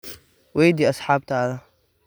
Weydii asxaabtaada.